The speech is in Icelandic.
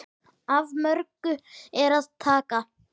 Af mörgu er að taka.